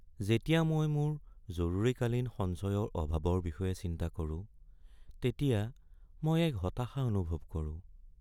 যেতিয়া মই মোৰ জৰুৰীকালীন সঞ্চয়ৰ অভাৱৰ বিষয়ে চিন্তা কৰোঁ তেতিয়া মই এক হতাশা অনুভৱ কৰোঁ।